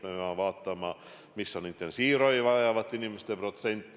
Me peame vaatama, kui suur on intensiivravi vajavate inimeste protsent.